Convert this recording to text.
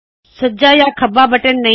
ਸੱਜਾ ਜਾੰ ਖੱਬਾ ਬਟਨ ਨਹੀਂ